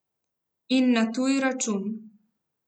In na tuj račun.